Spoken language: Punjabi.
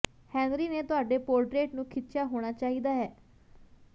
ਹੈਨਰੀ ਨੇ ਤੁਹਾਡੇ ਪੋਰਟਰੇਟ ਨੂੰ ਖਿੱਚਿਆ ਹੋਣਾ ਚਾਹੀਦਾ ਹੈ